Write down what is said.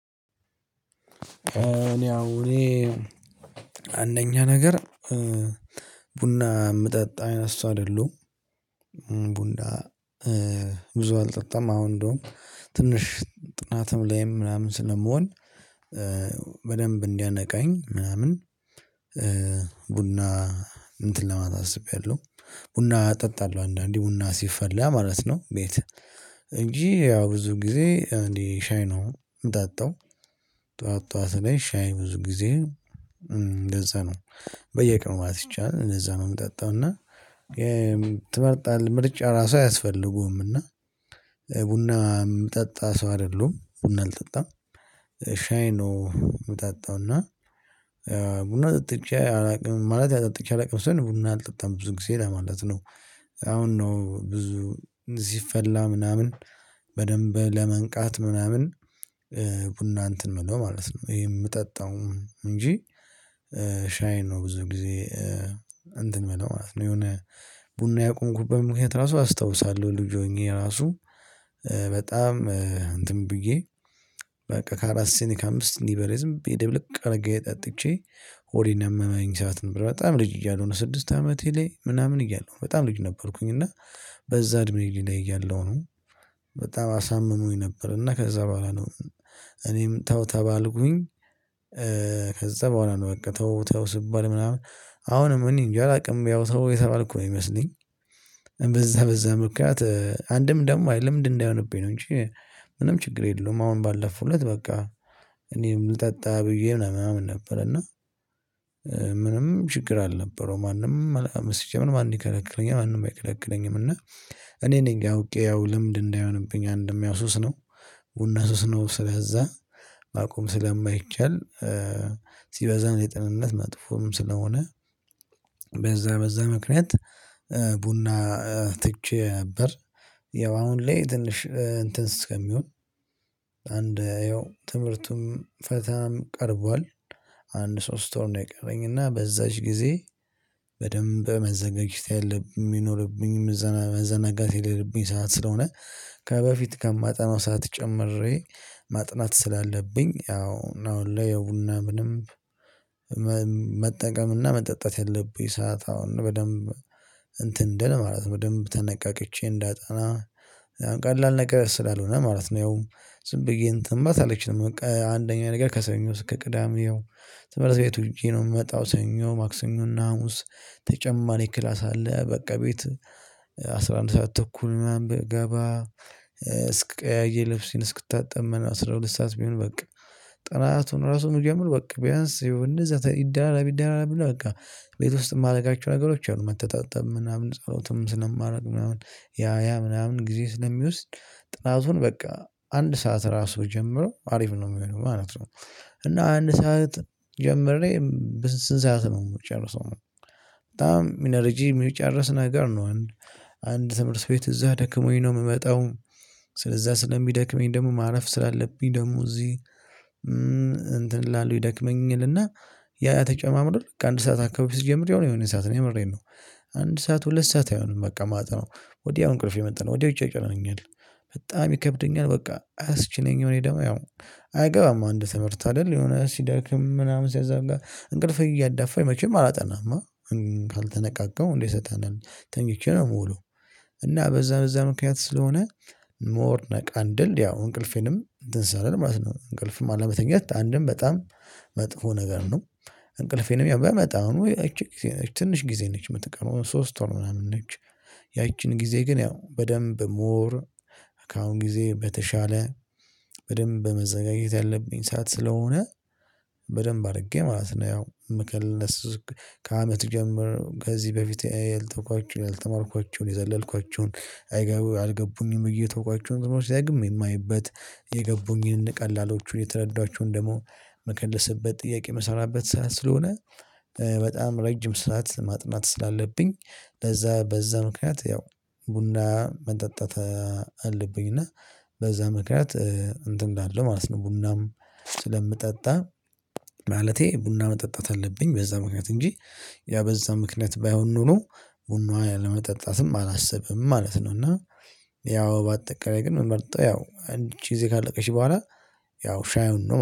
እኔ አሁን እኔ አንደኛ ነገር ቡና የምጠጣ አይነት እሱ አይደሉም። ቡና ብዙ አልጠጣም አሁን እንደውም ትንሽ ጥናትም ላይም ምናምን ስለመሆን በደንብ እንዲያነቃኝ ምናምን። ቡና እንትን ለማታ አስቤያለሁ። ቡና እጠጣለሁ አንዳንዴ ቡና ሲፈላ ማለት ነው። ቤት እንጂ ያው ብዙ ጊዜ እንዴ ሻይ ነው የምጣጣው። ጠዋት ጠዋት ላይ ሻይ ብዙ ጊዜ እንደዛ ነው በየቀኑ ማለት ይቻላል እንደዛ ነው የምጠጣው እና። ትመርጣለህ ምርጫ ራሱ አያስፈልጉም እና ቡና የምጠጣ ሰው አይደሉም ቡና አልጠጣም። ሻይ ነው የምጠጣው እና። ቡና ጠጥቼ አላውቅም ማለት ያጠጥቼ አላውቅም ቡና አልጠጣም ብዙ ጊዜ ለማለት ነው። አሁን ነው ብዙ እንዲፈላ ምናምን በደንብ ለመንቃት ምናምን። ቡና እንትን የምለው ማለት ነው ይሄ የምጠጣውም እንጂ። ሻይ ነው ብዙ ጊዜ። እንትን የምለው ማለት ነው። የሆነ ቡና ያቆምኩበት ምክንያት ራሱ አስታውሳለሁ ልጅ ሆኜ ራሱ። በጣም እንትን ብዬ በቃ ከአራት ሲኒ ከአምስት ሲኒ በላይ ዝም ብይ ድብልቅ አድርጌ ጠጥቼ ሆዴን ያመመኝ ሰዓት ነበር። በጣም ልጅ እያሉ ነው ስድስት አመቴ ላይ ምናምን እያሉ በጣም ልጅ ነበርኩኝ። እና በዛ እድሜ ላይ ያለው ነው። በጣም አሳምኖኝ ነበር እና ከዛ በኋላ ነው። እኔም ተው ተባልኩኝ። ከዛ በኋላ ነው በቃ ተው ተው ስባል ምናምን አሁንም እኔ እንጃ አላውቅም ያው ተው የተባልኩ ነው የሚመስለኝ። በዛ በዛ ምክንያት አንድም ደግሞ ለምንድነው? እንዳይሆንብኝ ነው እንጂ። ምንም ችግር የለውም አሁን ባለፉለት በቃ እኔም ልጠጣ ብዬ ምናምን ነበር። እና ምንም ችግር አልነበረውም ማንም አላ ሲጀመር ማን ይከለክለኛል ማንም አይከለክለኝም እና። እኔ ነኝ ያውቄው ልምድ እንዳይሆንብኝ አንድም ያው ሱስ ነው። ቡና ሱስ ነው ስለዛ ማቆም ስለማይቻል። ሲበዛም የጤንነት መጥፎም ስለሆነ። በዛ በዛ ምክንያት ቡና ትቼ ነበር። ያው አሁን ላይ ትንሽ እንትን እስከሚሆን አንድ ያው ትምህርቱም ፈተናም ቀርቧል። አንድ ሶስት ወር ነው የቀረኝ እና በዛች ጊዜ በደንብ መዘጋጀት የለብኝም የሚኖርብኝም መዘናጋት የለብኝ ሰዓት ስለሆነ። ከበፊት ከማጠናው ሰዓት ጨምሬ ማጥናት ስላለብኝ ያው ነው ለየቡና ምንም። መጠቀምና መጠጣት ያለብኝ ሰዓት አሁን በደንብ እንትን እንድል ማለት ነው በደንብ ተነቃቅቼ እንዳጠና ቀላል ነገር ስላልሆነ ማለት ነው። ያው ዝም ብዬ እንተን ማለት አልችልም። በቃ አንደኛ ነገር ከሰኞ ከቅዳሜ ያው ተመረዘቤት ውጪ ነው የምመጣው። ሰኞ ማክሰኞና ሀሙስ ተጨማሪ ክላስ አለ በቃ ቤት አስራ አንድ ሰዓት ተኩል ምናምን ብገባ። እስቀያይር ልብስ እስክታጠብ አስራ ሁለት ሰዓት ቢሆን በቃ። ጥናቱን ራሱን ምጀምሮ በቃ ቢያንስ ይህው ይደራረብ ይደራረብ እና በቃ ቤት ውስጥ የማደርጋቸው ነገሮች አሉ። መተጣጠም ምናምን ጸሎትም ስለማድረግ ምናምን ያ ያ ምናምን ጊዜ ስለሚወስድ ጥናቱን በቃ አንድ ሰዓት ራሱ ጀምሮ አሪፍ ነው የሚሆነው ማለት ነው። እና አንድ ሰዓት ጀምሬ ስንት ሰዓት ነው የምትጨርሰው? በጣም ኢነርጂ የሚጨርስ ነገር ነው። አንድ ትምህርት ቤት እዛ ደክሞኝ ነው የምመጣው። ስለዛ ስለሚደክመኝ ደግሞ ማረፍ ስላለብኝ ደግሞ እዚህ እንትን ላሉ ይደክመኝ ይልና። ያ ያ ተጨማምዶ አንድ ሰዓት አካባቢ ስጀምር የሆነ የሆነ ሰዓት ነው የምሬን ነው። አንድ ሰዓት ሁለት ሰዓት አይሆንም በቃ ማጠነው ወዲያው እንቅልፍ የመጣነው ወዲያው ይጨነኛል። በጣም ይከብደኛል በቃ አያስችለኝም። እኔ ደግሞ ያው አይገባም አንድ ትምህርት አይደል የሆነ ሲዳክም ምናምን ሲያዛም ጋር እንቅልፍ እያዳፋኝ መቼም አላጠናማ። ካልተነቃቀው እንዴ ሰጠናል ተኝቼ ነው የምውለው። እና በዛ በዛ ምክንያት ስለሆነ። ሞር ነቃ እንድል ያው እንቅልፌንም ትንሳለህ ማለት ነው እንቅልፍም አለመተኛት አንድም በጣም መጥፎ ነገር ነው። እንቅልፌንም ያው በመጠኑ እቺ ትንሽ ጊዜ ነች የምትቀረው ሶስት ወር ምናምን ነች። ያቺን ጊዜ ግን ያው በደንብ ሞር ከአሁን ጊዜ በተሻለ በደንብ መዘጋጀት ያለብኝ ሰዓት ስለሆነ። በደንብ አድርጌ ማለት ነው ያው ምክልስ ከአመት ጀምሮ ከዚህ በፊት ያልተማርኳቸውን የዘለልኳቸውን የተውኳቸውን ነገሮች ዳግም የማይበት የገቡኝን ቀላሎቹን የተረዷችሁን ደግሞ መከለስበት ጥያቄ የምሰራበት ሰዓት ስለሆነ። በጣም ረጅም ሰዓት ማጥናት ስላለብኝ። ለዛ በዛ ምክንያት ያው ቡና መጠጣት አለብኝ እና። በዛ ምክንያት እንትን እንዳለ ማለት ነው። ቡናም ስለምጠጣ። ማለቴ ቡና መጠጣት አለብኝ በዛ ምክንያት እንጂ። ያ በዛ ምክንያት ባይሆን ኖሮ ቡናዋን ለመጠጣትም አላስብም ማለት ነው። እና ያው በአጠቃላይ ግን ምመርጠው ያው አንድ ይቺ ጊዜ ካለቀሽ በኋላ። ያው ሻዩን ነው